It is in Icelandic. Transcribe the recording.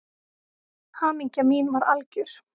Hamingja mín var algjör.